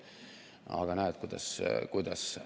Aga näed, kuidas ...